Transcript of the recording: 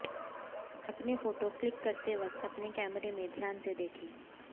अपने photo click करते वक्त अपने कैमरें में ध्यान से देखें